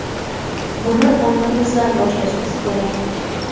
Buni ongimizdan boshlashimiz kerak.